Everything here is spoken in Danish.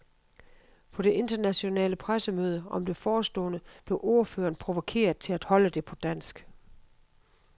På det internationale pressemøde om det forestående blev ordføreren provokeret til at holde det på dansk.